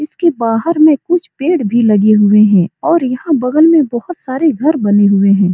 इसके बाहर में कुछ पेड़ भी लगे हुए हैं और यहाँ बगल में बहुत सारे घर बने हुए हैं।